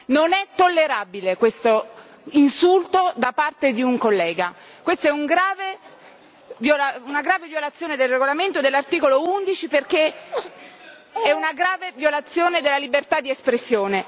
Non è tollerabile questo insulto da parte di un collega, questo è una grave violazione del regolamento, dell'articolo 11, perché è una grave violazione della libertà di espressione.